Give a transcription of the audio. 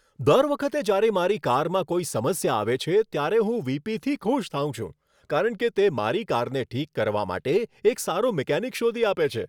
દર વખતે જ્યારે મારી કારમાં કોઈ સમસ્યા આવે છે, ત્યારે હું વી.પી.થી ખુશ થાઉં છું, કારણ કે તે મારી કારને ઠીક કરવા માટે એક સારો મિકેનિક શોધી આપે છે.